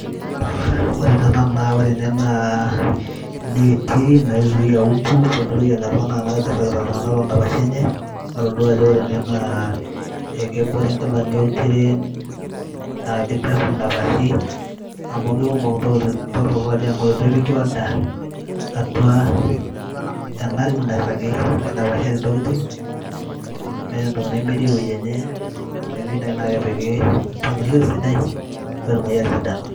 ore tenanu naa ore ene naa ineti naizuia umbu pemintoki anya iltung'anak enakata irragita iltung'anak tondapashi enye natodua ajo ore ene naa ekebore nkilani oltiren naa kichafu indapashi amu kikumok intokitin torrok natii amu etu epiki order atua ena rumu nairragi kidapashari intokitin meeta entoki nemetii ewueji enye neeku keyieu naaji naa kepiki mipangilio sidai petumoki atisidana.